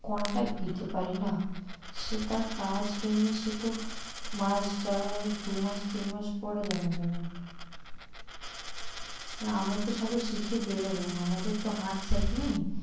Contact দিতে পারি না? সেটা কাজ কেমনি সেতো মাস যাওয়ার দু মাস তিন মাস পরে জানা যাবে। কারন আমরা তো সবাই শিখে বেরোলাম আমাদের তো হাত set নেই